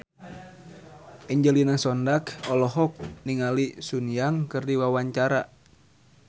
Angelina Sondakh olohok ningali Sun Yang keur diwawancara